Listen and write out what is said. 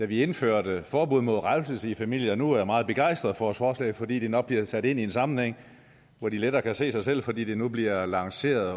vi indførte forbud mod revselse i familien nu er meget begejstrede for et forslag fordi det nok bliver sat ind i en sammenhæng hvor de lettere kan se sig selv fordi det nu bliver lanceret